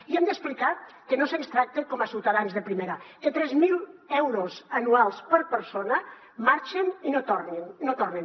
i hem d’explicar que no se’ns tracta com a ciutadans de primera que tres mil euros anuals per persona marxen i no tornen